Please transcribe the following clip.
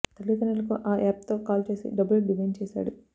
తల్లి తండ్రులకు ఆ యాప్ తో కాల్ చేసి డబ్బులు డిమాండ్ చేసాడు